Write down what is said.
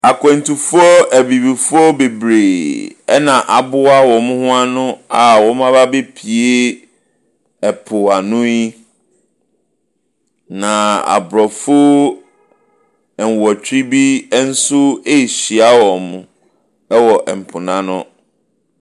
Nnipadɔm kɛseɛ a wɔte adeɛ ketewa bi so a ɛda nsuo ani. Na nnipa ne bi guina kɔnkɔn so a wɔretwe wɔn abɛn nsuo no ano. Wɔn a wɔretwe wɔn no bi hyɛ kyɛ. Na obi a ɔhyɛ asrafo ataare nso gyina kɔnkɔn ne so.